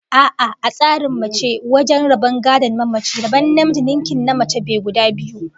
A'a, a tsarin Musulmai, wajen rabon gadon mamaci, rabon namiji ninkin na mace be guda biyu